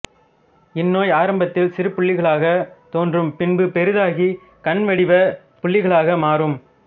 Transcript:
இந் நோய் ஆரம்பத்தில் சிறு புள்ளிகளாக தோன்றும் பின்பு பெரிதாகி கண்வடிவ புள்ளிகளாக மாறும்